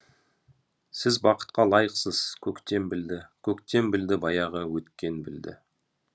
сіз бақытқа лайықсыз көктем білді көктем білді баяғы өткен білді